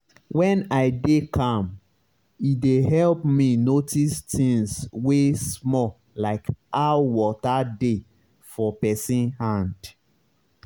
when i dey calm e dey help me notice things wey small like how water dey for pesin hand.